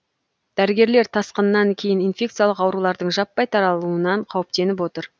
дәрігерлер тасқынан кейін инфекциялық аурулардың жаппай таралуынан қауіптеніп отыр